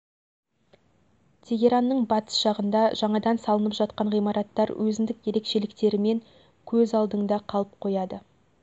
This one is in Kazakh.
тегеранның батыс жағында жаңадан салынып жатқан ғимараттар өзіндік ерекшеліктерімен көз алдыңда қалып қояды